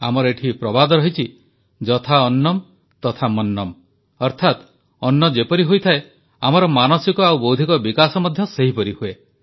ଆମର ଏଠି ପ୍ରବାଦ ରହିଛି ଯଥା ଅନ୍ନମ୍ ତଥା ମନ୍ନମ୍ ଅର୍ଥାତ ଅନ୍ନ ଯେପରି ହୋଇଥାଏ ଆମର ମାନସିକ ଓ ବୌଦ୍ଧିକ ବିକାଶ ମଧ୍ୟ ସେହିପରି ହୁଏ